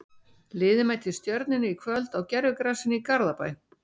Liðið mætir Stjörnunni í kvöld á gervigrasinu í Garðabæ.